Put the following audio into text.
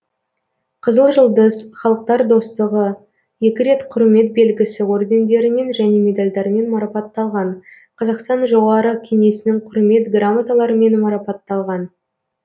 қызыл жұлдыз халықтар достығы екі рет құрмет белгісі ордендерімен және медальдармен марапатталған қазақстан жоғары кеңесінің құрмет грамоталарымен марапатталған